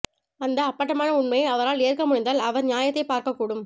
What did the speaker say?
அந்த அப்பட்டமான உண்மையை அவரால் ஏற்க முடிந்தால் அவர் நியாயத்தைப் பார்க்கக்கூடும்